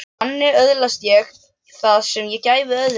Þannig öðlaðist ég það sem ég gæfi öðrum.